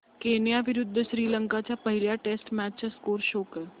Kenya विरुद्ध श्रीलंका च्या पहिल्या टेस्ट मॅच चा स्कोअर शो कर